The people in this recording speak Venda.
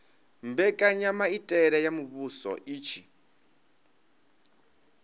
mbekanyamaitele ya muvhuso i tshi